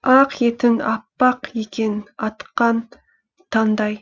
ақ етің аппақ екен атқан таңдай